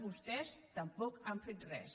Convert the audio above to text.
vostès tampoc han fet res